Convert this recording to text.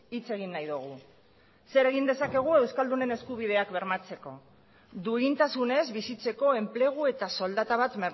hitz egin nahi dugu zer egin dezakegu euskaldunen eskubideak bermatzeko duintasunez bizitzeko enplegu eta soldata bat